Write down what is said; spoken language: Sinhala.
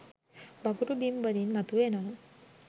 වගුරු බිම් වලින් මතු වෙනවා.